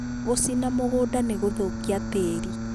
gũcina mũgũnda nĩ gũthũkagia tĩĩri